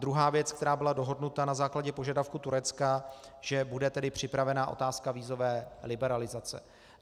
Druhá věc, která byla dohodnuta na základě požadavku Turecka, že bude tedy připravena otázka vízové liberalizace.